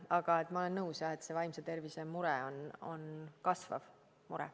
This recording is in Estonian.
Aga ma olen nõus, et see vaimse tervise mure on kasvav mure.